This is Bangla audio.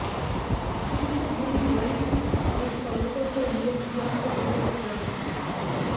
শীর্ষ দুই হোয়াইট হাউস কর্মকর্তার নিয়োগ চূড়ান্ত করলেন ট্রাম্প